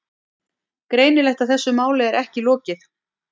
Greinilegt að þessu máli er ekki lokið.